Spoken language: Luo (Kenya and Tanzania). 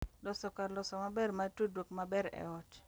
Loso kar loso maber mar tudruok maber e ot